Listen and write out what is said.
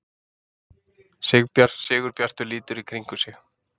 Sigurbjartur lítur í kringum sig.